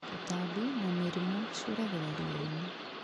Tũtambi na mĩrimũ ciũragĩra riani